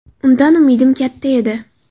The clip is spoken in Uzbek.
Undan umidim katta edi.